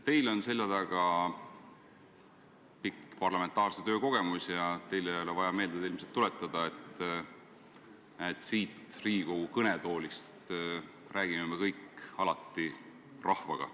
Teil on seljataga pikk parlamentaarse töö kogemus ja teile ei ole ilmselt vaja meelde tuletada, et siit Riigikogu kõnetoolist räägime me kõik alati rahvaga.